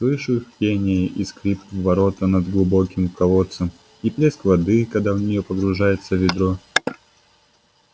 слышу их пение и скрип ворота над глубоким колодцем и плеск воды когда в неё погружается ведро